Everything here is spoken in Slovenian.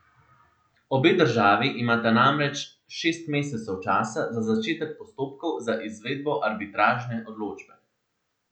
Obe državi imata namreč šest mesecev časa za začetek postopkov za izvedbo arbitražne odločbe.